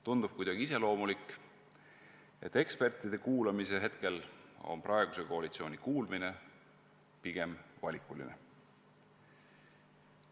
Tundub kuidagi iseloomulik, et eksperte kuulates on praeguse koalitsiooni kuulmisvõime pigem valikuline.